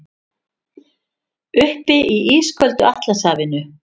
Uppi í ísköldu Atlantshafinu.